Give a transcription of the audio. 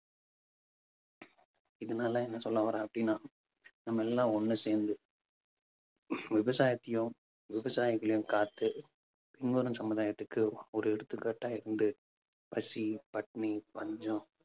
இதனால என்ன சொல்ல வரேன் அப்பிடின்னா நம்ம எல்லாம் ஒண்ணு சேர்ந்து விவசாயத்தையும் விவசாயிகளையும் காத்து இன்னொரு சமுதாயத்துக்கு ஒரு எடுத்துக்காட்டா இருந்து பசி, பட்டினி, பஞ்சம்